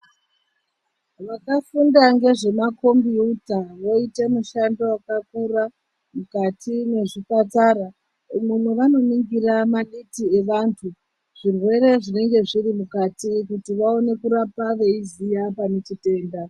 Vakafunda ngezvema kombiyuta voite mushando yakakura mukati mwezvipatara umo mwevanoningira maditi evantu zvirwere zvinenge zviri mukati kuti vaone kurapa veiziya pane chitenda.